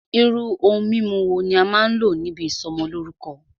Irú ohun mímu wo ní a máà n lò níbi ìsọmọlórúkọ́?